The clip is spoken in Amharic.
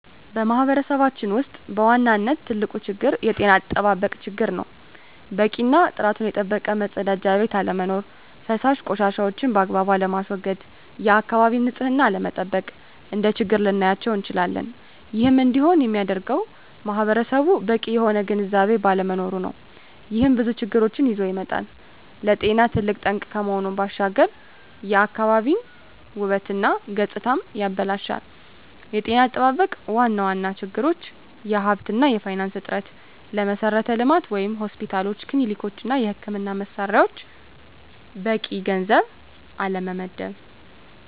በማህበረሰባችን ውስጥ በዋናነት ትልቁ ችግር የጤና አጠባበቅ ችግር ነው። በቂ እና ጥራቱን የጠበቀ መፀዳጃ ቤት አለመኖር። ፈሳሽ ቆሻሻዎችን ባግባቡ አለማስዎገድ፣ የአካባቢን ንፅህና አለመጠበቅ፣ እንደ ችግር ልናያቸው እንችላለን። ይህም እንዲሆን የሚያደርገውም ማህበረሰቡ በቂ የሆነ ግንዝቤ ባለመኖሩ ነው። ይህም ብዙ ችግሮችን ይዞ ይመጣል። ለጤና ትልቅ ጠንቅ ከመሆኑ ባሻገር የአካባቢን ውበት እና ገፅታንም ያበላሻል። የጤና አጠባበቅ ዋና ዋና ችግሮች የሀብት እና የፋይናንስ እጥረት፣ ለመሠረተ ልማት (ሆስፒታሎች፣ ክሊኒኮች) እና የሕክምና መሣሪያዎች በቂ ገንዘብ አለመመደብ።